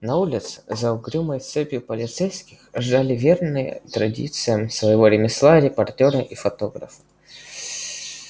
на улице за угрюмой цепью полицейских ждали верные традициям своего ремесла репортёры и фотографы